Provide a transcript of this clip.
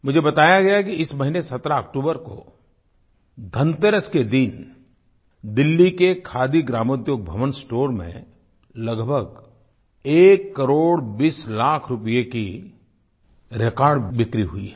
मुझे बताया गया है कि इस महीने 17 अक्तूबर को धनतेरस के दिन दिल्ली के खादी ग्रामोद्योग भवन स्टोर में लगभग एक करोड़ बीस लाख रुपये की रेकॉर्ड बिक्री हुई है